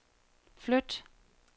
flyt